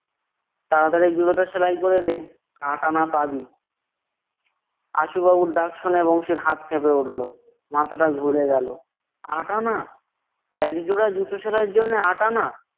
তাড়াতাড়ি জুতোটা সেলাই করে দে, আটা আনা পাবি। আশুবাবুর ডাক শুনে বংশীর হাত কেঁপে উঠলো। মাথাটা ঘুরে গেলো। আটা আনা! একজোড়া জুতো সেলাইয়ের জন্য আট আনা!